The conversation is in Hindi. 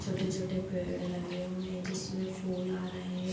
छोटे-छोटे पेड़ लगे हुए हैं जिसमें फूल आ रहें हैं।